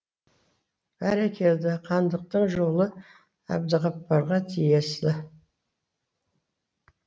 бәрекелді хандықтың жолы әбдіғапарға тиесілі